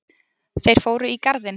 Þeir fóru í garðinn.